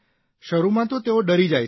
શરૂમાં તો તેઓ ડરી જાય છે